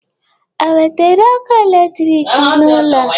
E wetere ọkụ electric n'ụlọ?